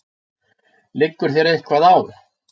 Liggur þér eitthvað á?